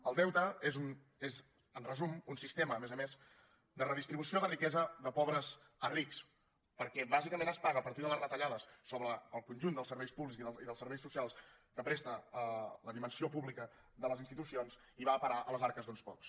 el deute és en resum un sistema a més a més de redistribució de riquesa de pobres a rics perquè bàsicament es paga a partir de les retallades sobre el conjunt dels serveis públics i dels serveis socials que presta la dimensió pública de les institucions i va a parar a les arques d’uns pocs